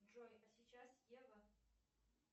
джой а сейчас ева